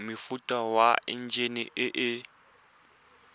mofuta wa enjine e e